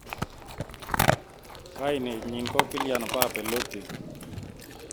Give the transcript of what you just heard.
Kainet nyin ko Kylian Mbappe Lottin.